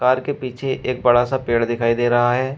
Car के पीछे एक बड़ा सा पेड़ दिखाई दे रहा है।